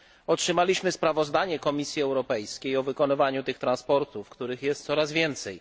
Otrzymaliśmy sprawozdanie Komisji Europejskiej o wykonywaniu tych transportów, których jest coraz więcej.